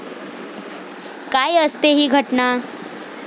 काय असते ही घटना?